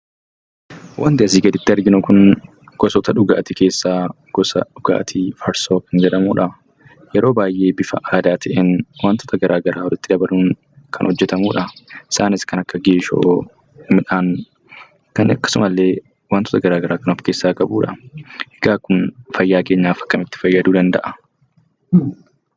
Wanti asii gaditti arginu kun gosoota dhugaatii keessaa gosa dhugaatii farsoo kan jedhamudha. Yeroo baay'ee bifa aadaa ta'een wantoota adda addaa walitti dabaluun kan hojjetamudha. Isaanis kan akka geeshoo akkasumallee wantoota garaa garaa kan ofkeessaa qabudha. Kun fayyaa keenyaaf akkamitti nu fayyaduu danda'a?